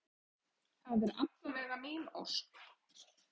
Það er alla vega mín ósk.